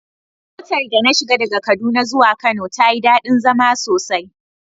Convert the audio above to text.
Motar da na shiga daga kaduna zuwa kano tayi dadi zama sosai.